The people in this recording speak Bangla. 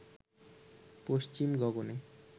পশ্চিম গগনে